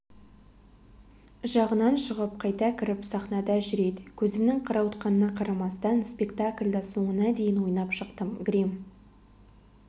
жағынан шығып қайта кіріп сахнада жүреді көзімнің қарауытқанына қарамастан спектакльді соңына дейін ойнап шықтым грим